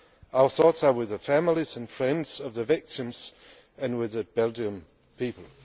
Our thoughts are with the families and friends of the victims and with the Belgian people.